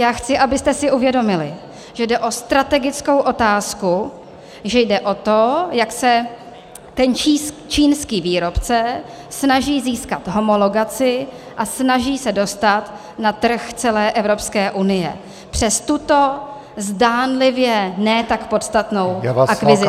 Já chci, abyste si uvědomili, že jde o strategickou otázku, že jde o to, jak se ten čínský výrobce snaží získat homologaci a snaží se dostat na trh celé Evropské unie přes tuto zdánlivě ne tak podstatnou akvizici -